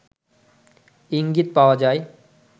ইঙ্গিত পাওয়া যায়